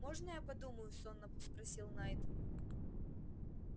можно я подумаю сонно спросил найд